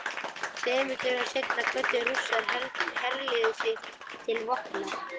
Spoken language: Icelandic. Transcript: Tveimur dögum seinna kvöddu Rússar herlið sitt til vopna.